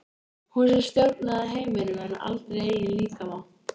Hún sem stjórnaði heiminum en aldrei eigin líkama.